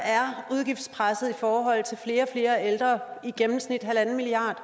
udgiftspresset i forhold til flere ældre i gennemsnit en milliard